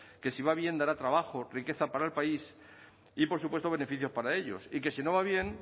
que si va bien dará trabajo riqueza para el país y por supuesto beneficios para ellos y que si no va bien